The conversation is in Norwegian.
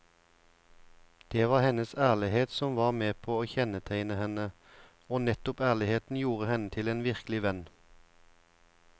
Det var hennes ærlighet som var med på å kjennetegne henne, og nettopp ærligheten gjorde henne til en virkelig venn.